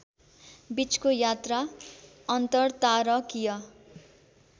बीचको यात्रा अन्तरतारकीय